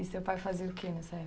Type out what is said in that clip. E seu pai fazia o que nessa